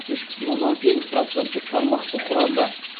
үш бүтін оннан сегіз проценттік тармақты құрады